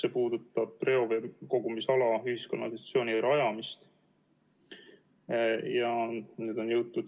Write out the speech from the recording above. See puudutab reoveekogumisala ühiskanalisatsiooni rajamist.